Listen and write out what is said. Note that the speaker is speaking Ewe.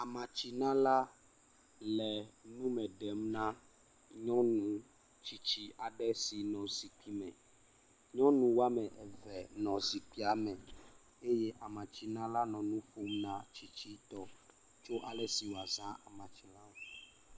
Amatsinala le nu me ɖem na nyɔnu tsitsi aɖe sinɔ zikpui me. Nyɔnu woame eve nɔ zikpuia me eye amatsinala le nu ƒom na tsitsitɔ tso ale si woazã amatsi la ŋu.